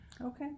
Okay